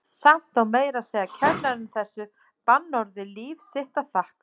Samt á meira að segja kennarinn þessu bannorði líf sitt að þakka.